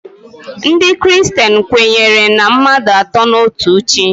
Ndị kristen kwenyere na mmadụ atọ n'otu Chi.